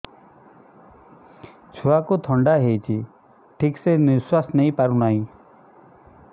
ଛୁଆକୁ ଥଣ୍ଡା ହେଇଛି ଠିକ ସେ ନିଶ୍ୱାସ ନେଇ ପାରୁ ନାହିଁ